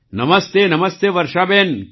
નમસ્તેનમસ્તે વર્ષાબેન